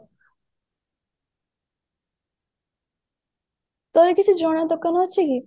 ତୋର କିଛି ଜଣା ଦୋକାନ ଅଛି କି